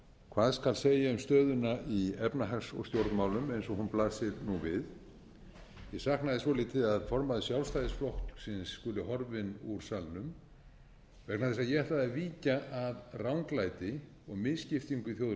hvað skal segja um stöðuna í efnahags og stjórnmálum eins og hún blasir nú við ég sakna þess svolítið að formaður sjálfstæðisflokksins skuli horfinn úr salnum vegna þess að ég ætla að víkja að ranglæti og misskiptingu í